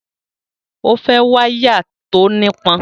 O fẹ́ wáyà tí ó nípọn